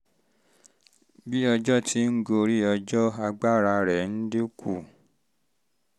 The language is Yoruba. bí bí ọjọ́ ti ń gorí ọjọ́ agbára rẹ̀ ń dín kù